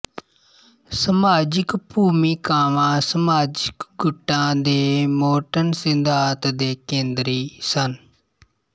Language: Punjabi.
ਸਮਾਜਿਕ ਭੂਮਿਕਾਵਾਂ ਸਮਾਜਿਕ ਗੁੱਟਾਂ ਦੇ ਮੋਰਟਨ ਸਿਧਾਂਤ ਦੇ ਕੇਂਦਰੀ ਸਨ